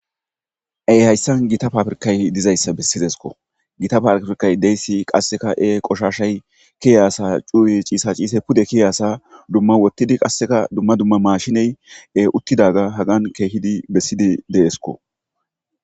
Ee hayssan gita pabirkkazii dizayssa besideskko gita pabirkkazii dizayssi qasekka e koshshashay keiyaso cuway cishcishe keiyasa dumma oottidii qasekka dumma dumma mashiney uuttidagga hagan keehidii bessidagga deesikko